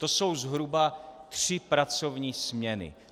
To jsou zhruba tři pracovní směny.